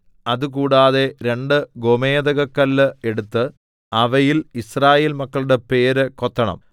അത് കൂടാതെ രണ്ട് ഗോമേദകക്കല്ല് എടുത്ത് അവയിൽ യിസ്രായേൽ മക്കളുടെ പേര് കൊത്തണം